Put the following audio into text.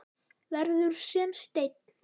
Verður sem steinn.